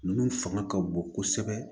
Ninnu fanga ka bon kosɛbɛ